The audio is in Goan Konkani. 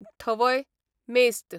थवय, मेस्त